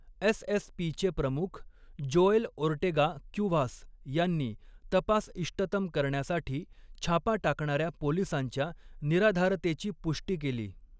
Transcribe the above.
एसएसपीचे प्रमुख, Joel Ortega Cuevas यांनी तपास इष्टतम करण्यासाठी छापा टाकणाऱ्या पोलिसांच्या निराधारतेची पुष्टी केली.